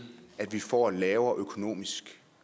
at vi får en lavere økonomisk